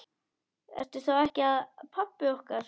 Ertu þá ekki pabbi okkar?